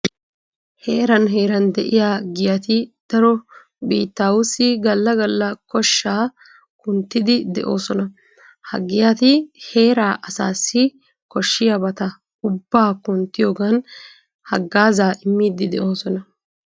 Heeran heeran de'iya giyati daro biittaawatussi galla galla koshshaa kunttiiddi de'oosona Ha giyati heeraa asaassi koshshiyabata ubbaa kunttiyogan haggaazaa immiiddi de'oosona.